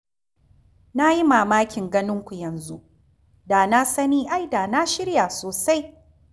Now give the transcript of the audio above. Na yi mamakin ganin ku yanzu. Da na sani ai da na shirya sosai.